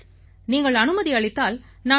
நீங்கள் அனுமதி அளித்தால் நான் உங்களிடம்